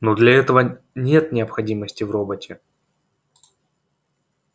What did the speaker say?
но для этого нет необходимости в роботе